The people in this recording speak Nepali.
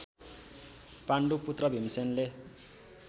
पाण्डु पुत्र भीमसेनले